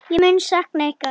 Ég mun sakna ykkar.